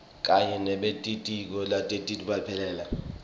kanye nebelitiko letekuphepha